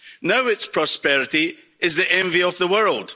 Now its prosperity is the envy of the world.